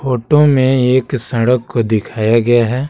Photo में एक सड़क को दिखाया गया है।